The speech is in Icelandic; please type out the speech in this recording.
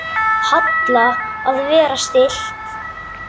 Halla: Að vera stillt.